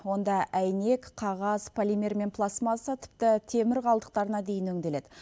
онда әйнек қағаз полимер мен пластмасса тіпті темір қалдықтарына дейін өңделеді